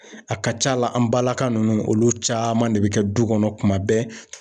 A ka ca la an balaka ninnu olu caman de bɛ kɛ du kɔnɔ kuma bɛɛ